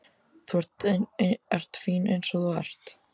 Þú ert fín eins og þú ert.